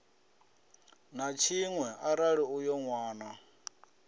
na tshiṅwe arali uyo nwana